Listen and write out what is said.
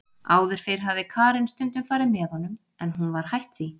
Áður fyrr hafði Karen stundum farið með honum en hún var hætt því.